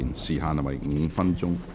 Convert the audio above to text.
時限為5分鐘。